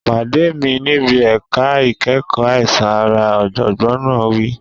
Pàdé mi níbi ẹ̀ka ìkẹ́kọ̀ọ́ àìsàn ara, ọ̀jọ̀gbọ́n náà wí.